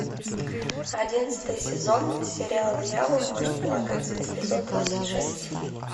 одиннадцатый сезон сериал дьявол может плакать эпизод двадцать шесть